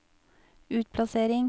utplassering